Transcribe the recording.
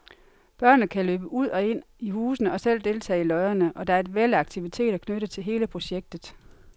Børnene kan løbe ud og ind i husene og selv deltage i løjerne, og der er et væld af aktiviteter knyttet til hele projektet.